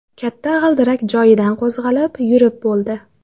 Katta g‘ildirak joyidan qo‘zg‘alib, yurib bo‘ldi.